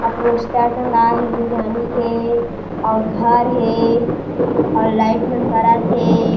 अ poster टंगाए हे बिरयानी के और घर हे और लाइट मन बरत हे।